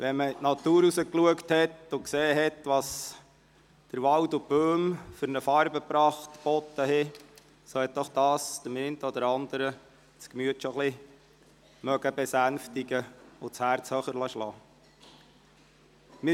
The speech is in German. Wenn man sich die Natur angeschaut und dabei gesehen hat, welche Farbenpracht der Wald und die Bäume geboten haben, so hat dies das Gemüt des einen oder anderen besänftigt und das Herz höher schlagen lassen.